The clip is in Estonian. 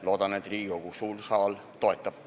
Loodan, et Riigikogu suur saal seda toetab.